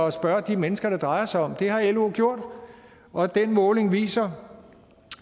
at spørge de mennesker det drejer sig om det har lo gjort og den måling viser